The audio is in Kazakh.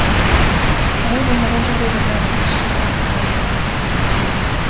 олай болмаған жағдайда бәрі бос сөз болып қала береді